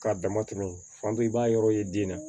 K'a dama tɛmɛ fan bɛɛ i b'a yɔrɔ ye den na